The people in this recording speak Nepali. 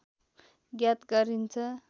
ज्ञात गरिन्छ